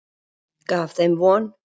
Gaf þeim von.